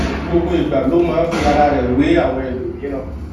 gbogbo ìgbà ló máa ń fi ara rè wé àwọn ẹlòmíràn